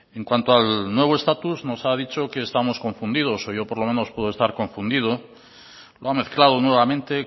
en cuanto al nuevo estatus nos ha dicho que estamos confundidos o yo por lo menos puedo estar confundido lo ha mezclado nuevamente